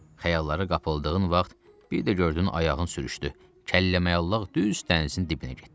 Xəyallara qapıldığın vaxt bir də gördün ayağın sürüşdü, kəlləmüəlllaq düz dənizin dibinə getdin.